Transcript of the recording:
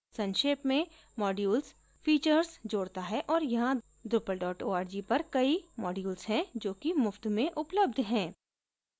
संक्षेप में modules features जोडता है और यहाँ drupal org पर कई modules हैं जो कि मुफ्त में उपलब्ध हैं